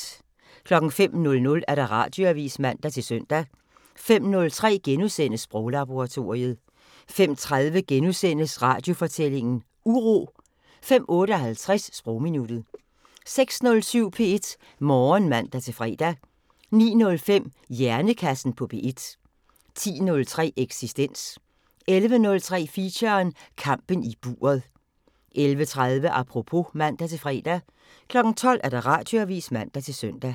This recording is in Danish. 05:00: Radioavisen (man-søn) 05:03: Sproglaboratoriet * 05:30: Radiofortællinger: Uro * 05:58: Sprogminuttet 06:07: P1 Morgen (man-fre) 09:05: Hjernekassen på P1 10:03: Eksistens 11:03: Feature: Kampen i buret 11:30: Apropos (man-fre) 12:00: Radioavisen (man-søn)